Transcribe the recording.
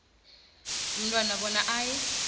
umntwana bona aye